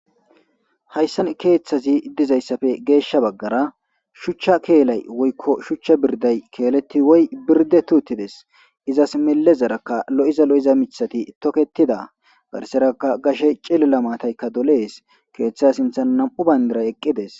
hayssan keethazi dizayssafe geeshsha baggara shuchcha keelay woykko shuchcha birdday keeletti woy birddetti uttides. Izas millezaraka lo7iza lo7iza mithati tokettida garsarakka gashe cillila maataykka dolees. Keetha sinthan nam7u banddiray eqqides.